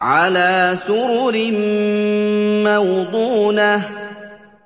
عَلَىٰ سُرُرٍ مَّوْضُونَةٍ